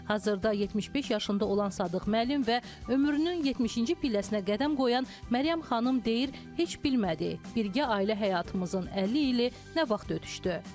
Hazırda 75 yaşında olan Sadıq müəllim və ömrünün 70-ci pilləsinə qədəm qoyan Məryəm xanım deyir heç bilmədik, birgə ailə həyatımızın 50 ili nə vaxt ötüşdü.